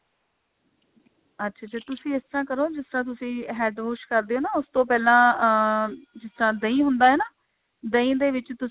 ਅੱਛਾ ਅੱਛਾ ਤੁਸੀਂ ਇਸ ਤਰ੍ਹਾਂ ਕਰੋ ਜਿਸ ਤਰ੍ਹਾਂ ਤੁਸੀਂ head wash ਕਰਦੇ ਹੋ ਨਾ ਉਸ ਤੋਂ ਪਹਿਲਾਂ ਅਹ ਜਿਸ ਤਰ੍ਹਾਂ ਦਹੀਂ ਹੁੰਦਾ ਹੈ ਨਾ ਦਹੀਂ ਦੇ ਵਿੱਚ ਤੁਸੀਂ